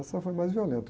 Essa foi mais violenta.